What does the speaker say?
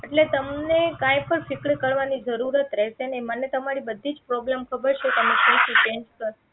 એટલે તમને કંઈ પણ ફિકર કરવાની જરૂરત રહશે નહીં મને તમારી બધીજ problem ખબર છે તમે શું શું face કર્યા